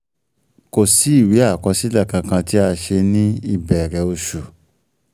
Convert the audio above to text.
Kò sì ìwé àkọsílẹ̀ kankan tí a ṣe um ní um ìbẹ̀rẹ̀ um oṣù